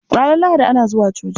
Ranar Lahadi ana zuwa coci.